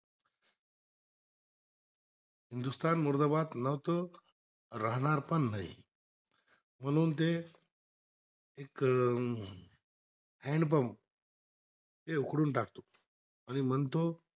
हिंदुस्थान मुर्दाबाद नतर राहणार पण नाही म्हणून त हॅन्डपंप ते खोडून टाकतो आणि म्हणतो